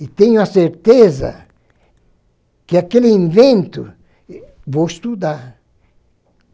e tenho a certeza que aquele invento vou estudar.